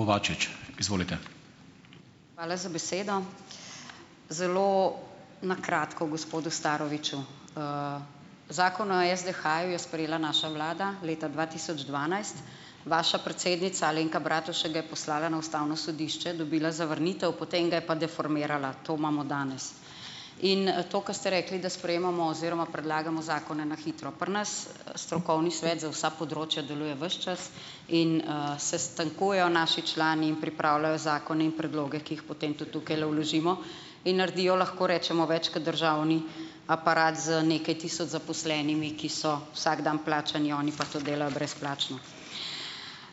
Kovačič, izvolite. Hvala za besedo. Zelo na kratko gospodu Staroviču, zakon o SDH-ju je sprejela naša vlada leta dva tisoč dvanajst, vaša predsednica Alenka Bratušek ga je poslala na ustavno sodišče, dobila zavrnitev, potem ga je pa deformirala, to imamo danes, in to, kar ste rekli, da sprejemamo oziroma predlagamo zakone na hitro pri nas, strokovni svet za vsa področja deluje ves čas in, sestankujejo naši člani in pripravljajo zakone in predloge, ki jih potem tudi tukajle vložimo, in naredijo lahko rečemo več kot državni aparat z nekaj tisoč zaposlenimi, ki so vsak dan plačani, oni pa to delajo brezplačno.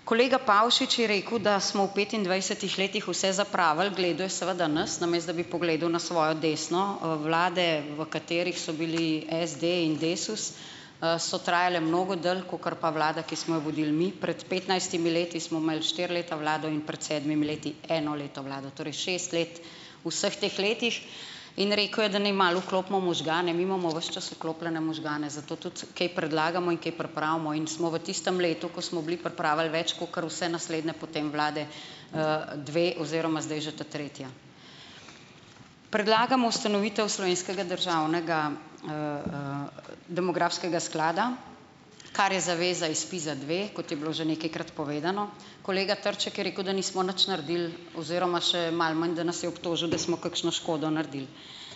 Kolega Pavšič je rekel, da smo v petindvajsetih letih vse zapravili, gledal je seveda nas, namesto da bi pogledal na svojo desno, vlade, v katerih so bili SD in Desus, so trajale mnogo dlje kakor pa vlada, ki smo jo vodili mi pred petnajstimi leti, smo imeli štiri leta vlado in pred sedmimi leti eno leto vlade, torej šest let, v vseh teh letih in rekel je, naj malo vklopimo možgane, mi imamo ves čas vklopljene možgane, zato tudi kaj predlagamo in kaj pripravimo in smo v tistem letu, ko smo bili, pripravili več kakor vse naslednje potem vlade, dve oziroma zdaj že ta tretja, predlagamo ustanovitev slovenskega državnega, demografskega sklada, kar je zaveza iZ SPIZ-a dve, kot je bilo že nekajkrat povedano, kolega Trček je rekel, da nismo nič naredili oziroma še malo manj, da nas je obtožil, da smo kakšno škodo naredili,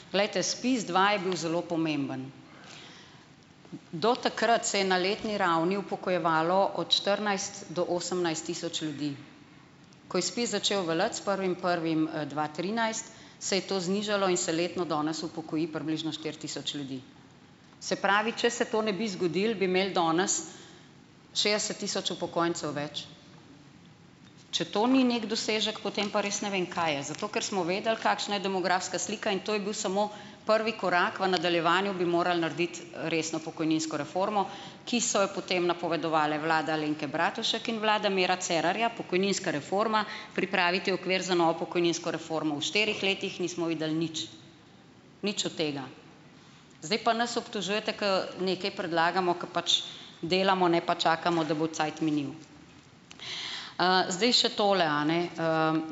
glejte SPIZ dva je bil zelo pomemben, do takrat se je na letni ravni upokojevalo od štirinajst do osemnajst tisoč ljudi, ko je Spiz začel veljati s prvim prvim dva trinajst, se je to znižalo in se letno danes upokoji približno štiri tisoč ljudi, se pravi, če se to ne bi zgodilo, bi imeli danes šestdeset tisoč upokojencev več, če to ni neki dosežek, potem pa res ne vem, kaj je, zato ker smo vedeli, kakšna je demografska slika, in to je bil samo prvi korak v nadaljevanju, bi morali narediti, resno pokojninsko reformo, ki sta jo potem napovedovali vlada Alenke Bratušek in vlada Mira Cerarja, pokojninska reforma, pripraviti okvir za novo pokojninsko reformo, v štirih letih nismo videli nič, nič od tega, zdaj pa nas obtožujete, ko nekaj predlagamo, ker pač delamo, ne pa čakamo, da bo cajt minil, zdaj še tole, a ne,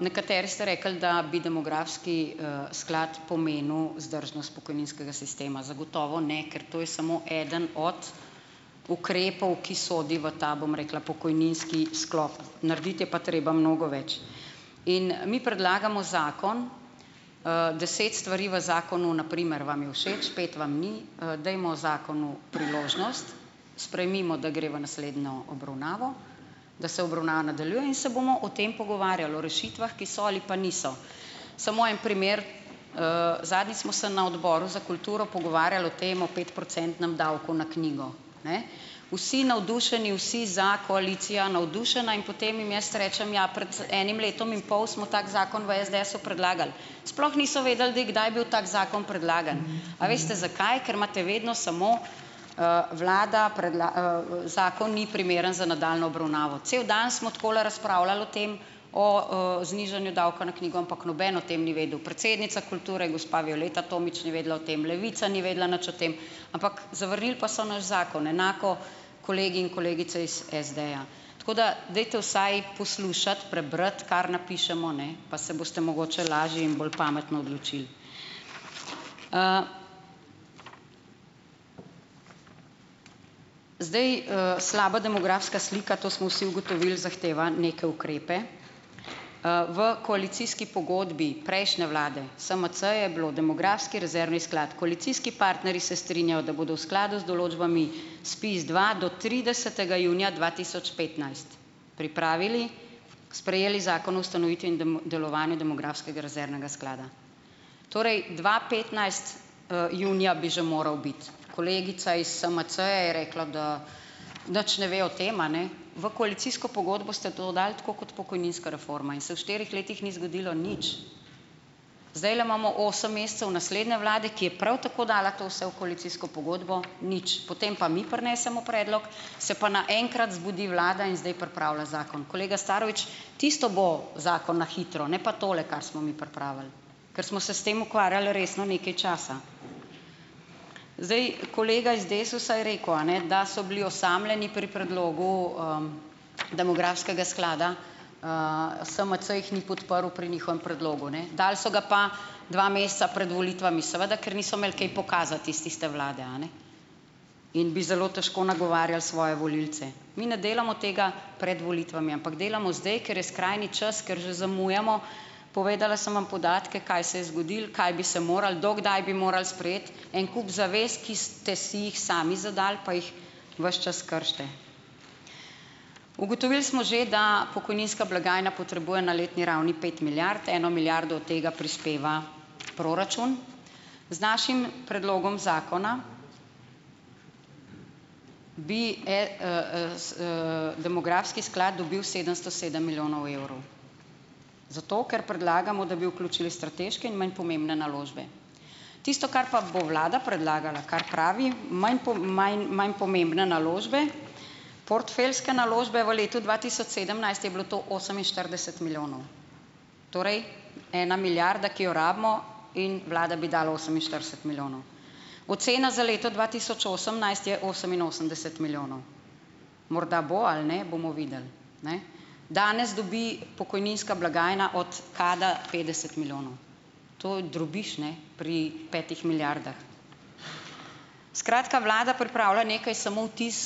nekateri ste rekli, da bi demografski, sklad pomenil vzdržnost pokojninskega sistema, zagotovo ne, ker to je samo eden od ukrepov, ki sodi v ta, bom rekla, pokojninski sklop, narediti je pa treba mnogo več in mi predlagamo zakon, deset stvari v zakonu na primer vam je všeč, pet vam ni, dajmo zakonu priložnost, sprejmimo, da gre v naslednjo obravnavo, da se obravnava nadaljuje, in se bomo o tem pogovarjali o rešitvah, ki so ali pa niso, samo en primer, zadnjič smo se na odboru za kulturo pogovarjali o tem petprocentnem davku na knjigo, ne, vsi navdušeni, vsi za, koalicija navdušena, in potem jim jaz rečem: "Ja, pred enim letom in pol smo tak zakon v SDS-u predlagali." Sploh niso vedeli, da je kdaj bil tak zakon predlagan. A veste, zakaj? Ker imate vedno samo, vlada zakon ni primeren za nadaljnjo obravnavo, cel dan smo takole razpravljali o tem, o, znižanju davka na knjigo, ampak noben o tem ni vedel, predsednica kulture, gospa Violeta Tomić, ni vedela o tem, Levica ni vedela nič o tem, ampak zavrnili pa so naš zakon, enako kolegi in kolegice iz SD-ja, tako da dajte vsaj poslušati, prebrati, kar napišemo, ne, pa se boste mogoče lažje in bolj pametno odločili, zdaj, slaba demografska slika, to smo vsi ugotovili, zahteva neke ukrepe, v koalicijski pogodbi prejšnje vlade Smc je bil demografski rezervni sklad, koalicijski partnerji se strinjajo, da bodo v skladu z določbami SPIZ dva do tridesetega junija dva tisoč petnajst pripravili, sprejeli zakon o ustanovitvi in delovanju demografskega rezervnega sklada, torej dva petnajst, junija bi že moral biti, kolegica is SMC-ja je rekla, da nič ne ve o tem, a ne, v koalicijsko pogodbo ste to dali, tako kot pokojninska reforma, in se v štirih letih ni zgodilo nič, zdajle imamo osem mesecev naslednje vlade, ki je prav tako dala to vse v koalicijsko pogodbo, nič, potem pa mi prinesemo predlog, se pa naenkrat zbudi vlada in zdaj pripravlja zakon, kolega Starovič, tisto bo zakon na hitro, ne pa tole, kar smo mi pripravili, ker smo se s tem ukvarjali resno nekaj časa, zdaj, kolega iz Desusa je rekel, a ne, da so bili osamljeni pri predlogu, demografskega sklada, SMC jih ni podprl pri njihovem predlogu, ne, dali so ga pa dva meseca pred volitvami, seveda ker niso imeli kaj pokazati iz tiste vlade, a ne, in bi zelo težko nagovarjali svoje volilce, mi ne delamo tega pred volitvami, ampak delamo zdaj, ker je skrajni čas, ker že zamujamo, povedala sem vam podatke, kaj se je zgodilo, kaj bi se moralo, do kdaj bi moralo sprejeti en kup zavez, ki ste si jih sami zadali, pa jih ves čas kršite, ugotovili smo že, da pokojninska blagajna potrebuje na letni ravni pet milijard, eno milijardo od tega prispeva proračun, z našim predlogom zakona bi, s, demografski sklad dobil sedemsto sedem milijonov evrov, zato ker predlagamo, da bi vključili strateške in manj pomembne naložbe, tisto, kar pa bo vlada predlagala, kaj pravi manj manj, manj pomembne naložbe, portfeljske naložbe, v letu dva tisoč sedemnajst je bilo to oseminštirideset milijonov, torej ena milijarda, ki jo rabimo, in vlada bi dala oseminštirideset milijonov, ocena za leto dva tisoč osemnajst je oseminosemdeset milijonov, morda bo ali ne, bomo videli, ne, danes dobi pokojninska blagajna od KAD-a petdeset milijonov, to je drobiž, ne, pri petih milijardah, skratka, vlada pripravlja nekaj, samo vtis,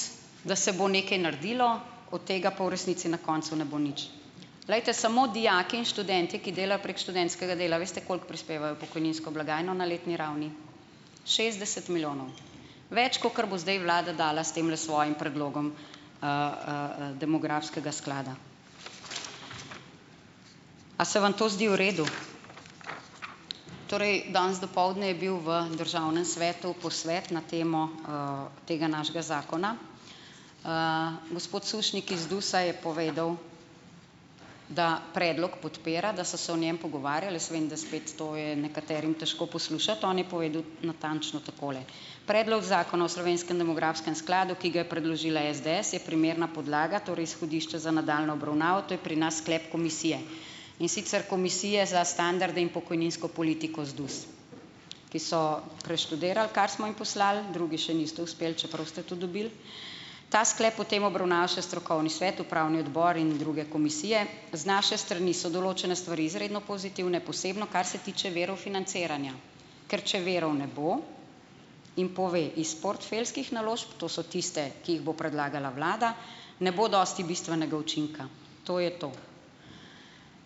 da se bo nekaj naredilo, od tega pa v resnici na koncu ne bo nič, glejte, samo dijaki in študentje, ki delajo prek študentskega dela, veste, koliko prispevajo v pokojninsko blagajno na letni ravni, šestdeset milijonov več, kakor bo zdaj vlada dala s temle svojim predlogom, demografskega sklada. A se vam to zdi v redu? Torej, danes dopoldne je bil v državnem svetu posvet na temo, tega našega zakona, gospod Sušnik iz DUS-a je povedal, da predlog podpira, da so se o njem pogovarjali, jaz vem, da spet to je nekaterim težko poslušati, on je povedal natančno takole: "Predlog zakona o slovenskem demografskem skladu, ki ga je predložila SDS, je primerna podlaga, torej izhodišče za nadaljnjo obravnavo, to je pri nas sklep komisije, in sicer komisije za standarde in pokojninsko politiko ZDUS, ki so preštudirali, kar smo jim poslali, drugi še niste uspeli, čeprav ste to dobili ta sklep o tem obravnava še strokovni svet, upravni odbor in druge komisije, z naše strani so določene stvari izredno pozitivne, posebno kar se tiče virov financiranja, ker če virov ne bo ..." In pove: "Iz portfeljskih naložb, to so tiste, ki jih bo predlagala vlada, ne bo dosti bistvenega učinka." To je to.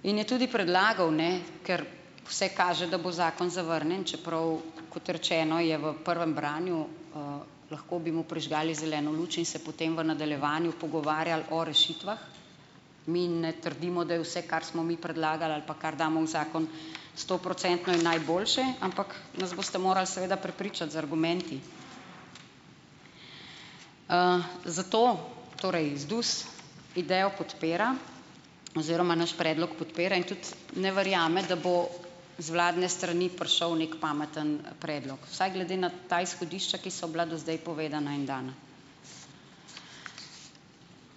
In je tudi predlagal, ne, ker vse kaže, da bo zakon zavrnjen, čeprav, kot rečeno, je v prvem branju, lahko bi mu prižgali zeleno luč in se potem v nadaljevanju pogovarjali o rešitvah. Mi ne trdimo, da je vse, kar smo mi predlagali ali pa kar damo v zakon, sto procentno in najboljše, ampak nas boste morali seveda prepričati z argumenti, zato torej ZDUS idejo podpira oziroma naš predlog podpira in tudi ne verjame, da bo z vladne strani prišel neki pameten predlog, vsaj glede na ta izhodišča, ki so bila do zdaj povedana in dana,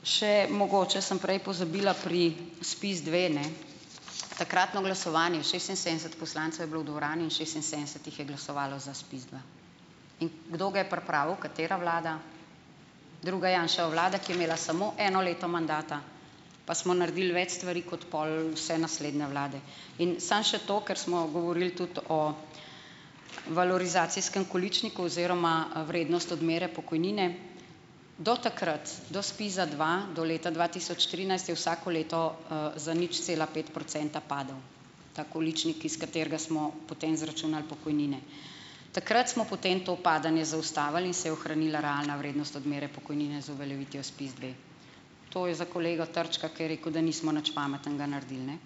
še mogoče sem prej pozabila pri SPIZ dve, ne, takratno glasovanje šestinsedemdeset poslancev je bilo v dvorani in šestinsedemdeset jih je glasovalo za SPIZ dva. In kdo ga je pripravil, katera vlada? Druga Janševa vlada, ki je imela samo eno leto mandata, pa smo naredili več stvari kot pol vse naslednje vlade, in samo še to, ker smo govorili tudi o valorizacijskem količniku oziroma vrednost odmere pokojnine, do takrat do SPIZ-a dva do leta dva tisoč trinajst je vsako leto, za nič cela pet procenta padel ta količnik, iz katerega smo potem izračunali pokojnine, takrat smo potem to padanje zaustavili in se je ohranila realna vrednost odmere pokojnine z uveljavitvijo SPIZ dve, to je za kolega Trčka, ki je rekel, da nismo nič pametnega naredili, ne,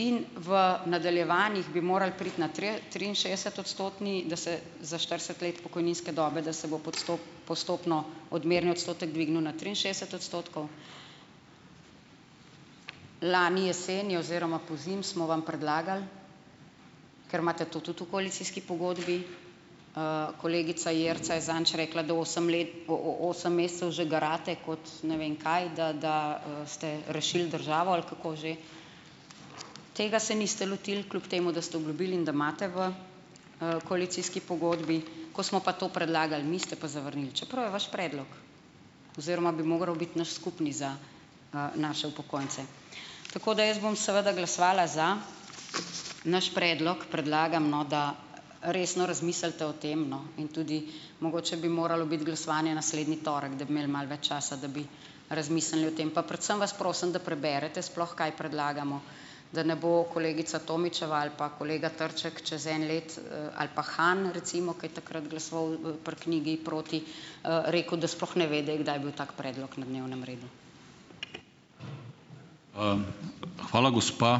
in v nadaljevanjih bi moralo priti na triinšestdesetodstotni, da se za štirideset let pokojninske dobe, da se bo postopno odmerni odstotek dvignil na triinšestdeset odstotkov, lani jeseni oziroma pozimi smo vam predlagali, ker imate tudi to v koalicijski pogodbi, kolegica Jerca je zadnjič rekla, da osem let, osem mesecev že garate kot ne vem kaj, da, da, ste rešili državo ali kako že, tega se niste lotili, kljub temu da ste obljubili in da imate v, koalicijski pogodbi, ko smo pa to predlagali, mi ste pa zavrnili, čeprav je vaš predlog oziroma bi moral biti naš skupni za, naše upokojence, tako da jaz bom seveda glasovala za naš predlog, predlagam, no, da resno razmislite o tem, no, in tudi mogoče bi moralo biti glasovanje naslednji torek, da bi imeli malo več časa, da bi razmislili o tem, pa predvsem vas prosim, da preberete sploh, kaj predlagamo, da ne bo kolegica Tomićeva ali pa kolega Trček čez eno leto, ali pa Han recimo, ki je takrat glasoval pri knjigi proti, rekel, da sploh ne ve, da je bil tak predlog na dnevnem redu. hvala gospa ...